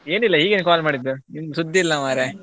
ಏನಿಲ್ಲ ಹೀಗೇನೆ call ಮಾಡಿದ್ದು ನಿಮ್ದು ಸುದ್ದಿ ಇಲ್ಲ ಮಾರ್ರೆ.